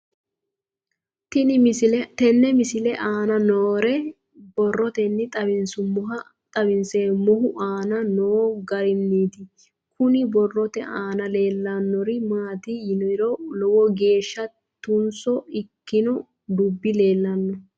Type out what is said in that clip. Tenne misile aana noore borroteni xawiseemohu aane noo gariniiti. Kunni borrote aana leelanori maati yiniro lowo geeshsha tunso ikkinno dubbi leenanno.